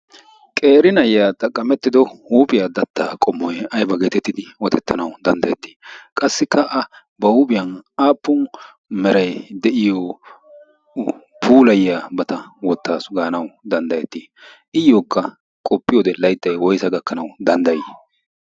qerinayya xaqqamettido huuphiyaa dattaa qomoy aiba geetettidi wotettanawu danddayettii qassikka a ba huuphiyan aappun merai deyiyo puulayyaa bata wottaasu gaanau danddayettii iyyookka qoppi wode laixxai woisa gakkanau danddayii?